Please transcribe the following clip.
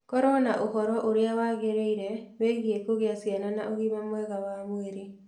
Korũo na ũhoro ũrĩa wagĩrĩire wĩgiĩ kũgĩa ciana na ũgima mwega wa mwĩrĩ.